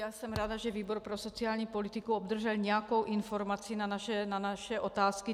Já jsem ráda, že výbor pro sociální politiku obdržel nějakou informaci na naše otázky.